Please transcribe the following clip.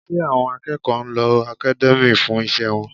Ṣé àwọn akẹ́kọ̀ọ́ ń lo academia fún iṣẹ́ wọn?